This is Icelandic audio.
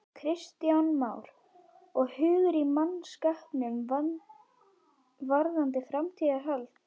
Kristján Már: Og hugur í mannskapnum varðandi framhaldið?